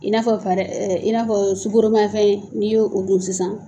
I n'a fɔ i n'a fɔ sukoroma fɛn n'i y'o o dun sisan